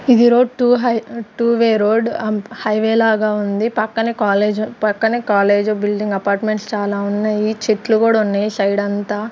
ఇది road to high to way road highway లాగా ఉంది. పక్కన కాలేజ్ పక్కనే కాలేజీ బిల్డింగ్ అపార్ట్మెంట్స్ చాలా ఉన్నాయి చెట్లు కూడా ఉన్నాయి సైడ్ అంత.